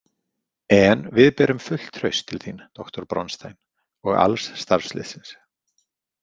En við berum fullt traust til þín, doktor Bronstein, og alls starfsliðsins.